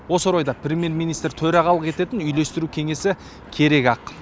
осы орайда премьер министр төрағалық ететін үйлестіру кеңесі керек ақ